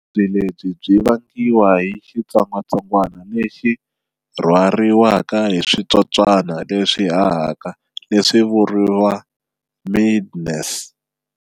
Vuvabyi lebyi byi vangiwa hi xitsongatsongwana lexi rhwariwaka hi switsotswana leswi hahaka leswi vuriwa 'midges'.